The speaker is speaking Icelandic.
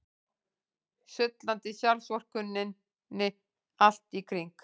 Sullandi sjálfsvorkunnin allt í kring.